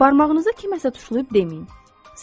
Barmağınızı kiməsə tuşlayıb deməyin.